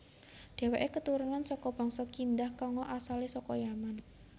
Déwèké keturunan saka bangsa Kindah kanga asalé saka Yaman